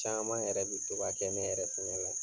Caman yɛrɛ bi to ka kɛ ne yɛrɛ fɛnɛ la.